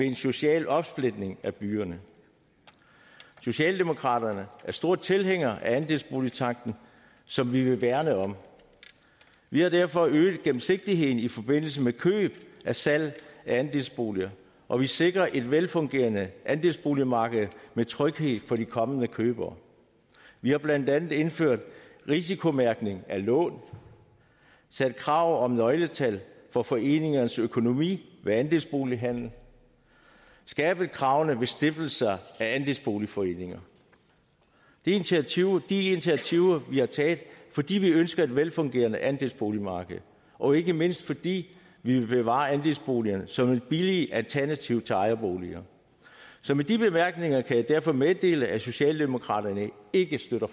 en social opsplitning af byerne socialdemokraterne er store tilhængere af andelsboligtanken som vi vil værne om vi har derfor øget gennemsigtigheden i forbindelse med køb og salg af andelsboliger og vi sikrer et velfungerende andelsboligmarked med tryghed for de kommende købere vi har blandt andet indført risikomærkning af lån sat krav om nøgletal for foreningernes økonomi ved andelsbolighandel og skærpet kravene ved stiftelser af andelsboligforeninger det er initiativer initiativer vi har taget fordi vi ønsker et velfungerende andelsboligmarked og ikke mindst fordi vi vil bevare andelsboligerne som et billigt alternativ til ejerboliger så med de bemærkninger kan jeg derfor meddele at socialdemokraterne ikke støtter